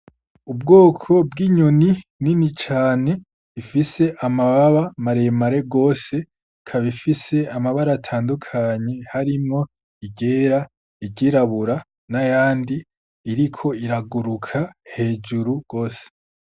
Ubwoko bw’inyoni nini cane ifise amababa mare mare gose ikaba ifise amabara atandukanye harimwo iryera, iryirabura n’ayandi iriko iraguruka hejuru gose.